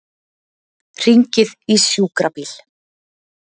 Hringið í sjúkrabíl.